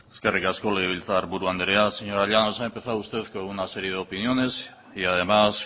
eskerrik asko legebiltzarburu andrea señora llanos ha empezado usted con una serie de opiniones y además